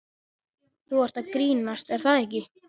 Þú ert að grínast er það ekki?